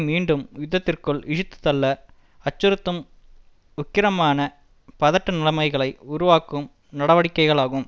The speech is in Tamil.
மீண்டும் யுத்தத்திற்குள் இழுத்துத் தள்ள அச்சுறுத்தும் உக்கிரமான பதட்ட நிலைமைகளை உருவாக்கும் நடவடிக்கைகளாகும்